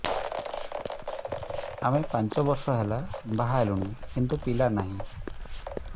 ଆମେ ପାଞ୍ଚ ବର୍ଷ ହେଲା ବାହା ହେଲୁଣି କିନ୍ତୁ ପିଲା ନାହିଁ